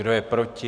Kdo je proti?